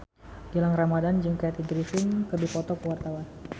Gilang Ramadan jeung Kathy Griffin keur dipoto ku wartawan